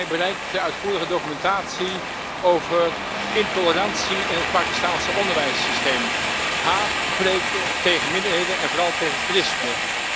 Mij bereikte uitvoerige documentatie over intolerantie in het Pakistaanse onderwijssysteem haatpreken tegen minderheden en vooral tegen christenen.